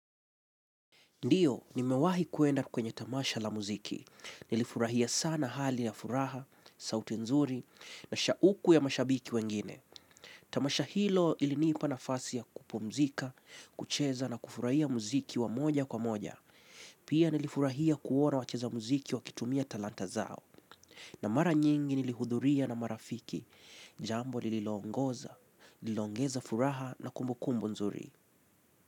Ndiyo nimewahi kuenda kwenye tamasha la muziki. Nilifurahia sana hali na furaha, sauti nzuri, na shauku ya mashabiki wengine. Tamasha hilo ilinipa nafasi ya kupumzika, kucheza na kufurahia muziki wa moja kwa moja. Pia nilifurahia kuona wacheza muziki wakitumia talanta zao. Na mara nyingi nilihudhuria na marafiki. Jambo lililoongoza, liloongeza furaha na kumbukumbu nzuri.